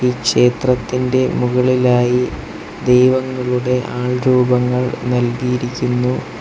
ഈ ക്ഷേത്രത്തിൻ്റെ മുകളിലായി ദൈവങ്ങളുടെ ആൾരൂപങ്ങൾ നൽകിയിരിക്കുന്നു.